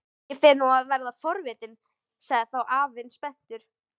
Ég fer nú að verða forvitinn sagði þá afinn spenntur.